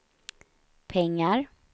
pengar